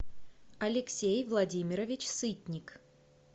алексей владимирович сытник